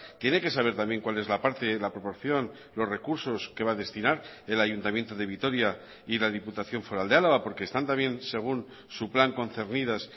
tiene que saber también cuál es la parte la proporción los recursos que va a destinar el ayuntamiento de vitoria y la diputación foral de álava porque están también según su plan concernidas